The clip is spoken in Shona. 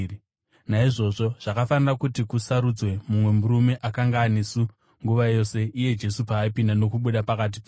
Naizvozvo zvakafanira kuti kusarudzwe mumwe murume akanga anesu nguva yose Ishe Jesu paaipinda nokubuda pakati pedu,